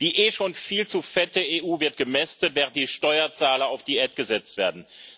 Die eh schon viel zu fette EU wird gemästet, während die Steuerzahler auf Diät gesetzt werden.